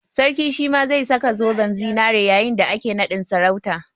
Sarkin shi ma zai saka zoben zinari yayin da ake naɗin sarautan